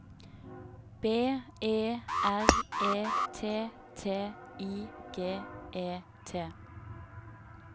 B E R E T T I G E T